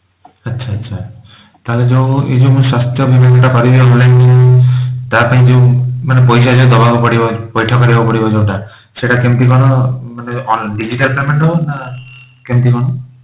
ଆଚ୍ଛା ଆଚ୍ଛା ତାହେଲେ ଯୋଉ ଏ ଯୋଉ ମୁଁ ସ୍ୱାସ୍ଥ୍ୟ ବୀମା କରିବି online ତା ପାଇଁ ଯୋଉ ମାନେ ଯୋଉ ପଇସା ଦବାକୁ ପଡିବ ପଇଠ କରିବାକୁ ପଡିବ ଯୋଉଟା ସେଟା କେମିତି କଣ ମାନେ digital payment ହବ ନା କେମିତି କଣ